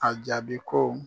A jaabi ko.